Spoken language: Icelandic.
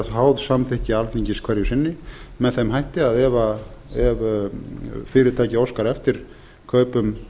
vera háð samþykki alþingis hverju sinni með þeim hætti að ef fyrirtæki óskar eftir kaupum